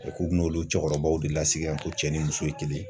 k'u bɛ n'olu cɛkɔrɔbaw de lasigi ko cɛ ni muso ye kelen ye.